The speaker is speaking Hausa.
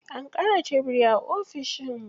An ƙara tebiri a ofishin.